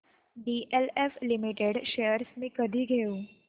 DLF limited shares मी कधी घेऊ